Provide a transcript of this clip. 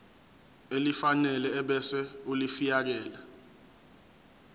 elifanele ebese ulifiakela